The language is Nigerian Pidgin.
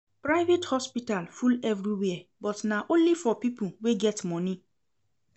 Private hospital full everywhere but na only for pipo wey get moni.